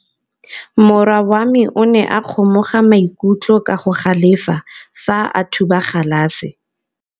Morwa wa me o ne a kgomoga maikutlo ka go galefa fa a thuba galase.